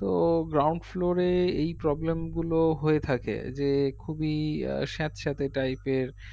তো ground floor এ এই problem গুলো হয়ে থাকে যে খুবি আঃ স্যাতস্যাতে type এর